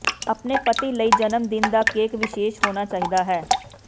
ਆਪਣੇ ਪਤੀ ਲਈ ਜਨਮਦਿਨ ਦਾ ਕੇਕ ਵਿਸ਼ੇਸ਼ ਹੋਣਾ ਚਾਹੀਦਾ ਹੈ